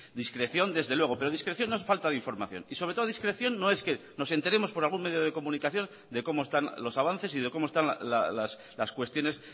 discreción desde luego pero discreción no es falta de información y sobre todo discreción no es que nos enteremos por algún medio de comunicación de cómo están los avances y de cómo están las cuestiones